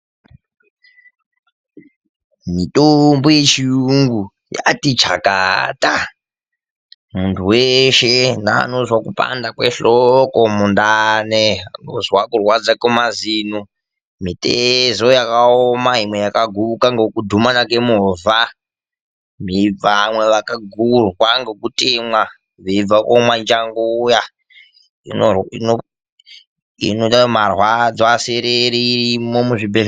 Mitombo yechiyungu yati chakata, munthu weshe panozwe kupanda kwehloko ,mundani ,kuzwa kupanda kwemazino kana mitezo yakaoma kana kuguka ngekudhumana kwemovha imweni yakatemwa veibva komwa kachasu .Mitombo inorape zvitenda zveshe izvi nedzekumwa kusereresa marwadzo dziriyo kuzvibhehlera nemuzvitoro zvinotengese mitombo.